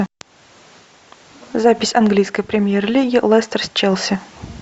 запись английской премьер лиги лестер с челси